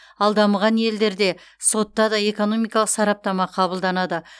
ал дамыған елдерде сотта да экономикалық сараптама қабылданады